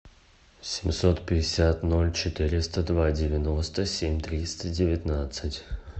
семьсот пятьдесят ноль четыреста два девяносто семь триста девятнадцать